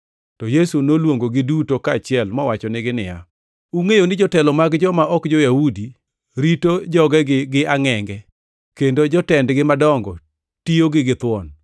To Yesu noluongogi duto kaachiel mowachonegi niya, “Ungʼeyo ni jotelo mag joma ok jo-Yahudi rito jogegi gi angʼenge, kendo jotendgi madongo tiyogi githuon,